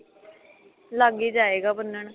ਲੱਗ ਈ ਜਾਏਗਾ ਬੰਨਣ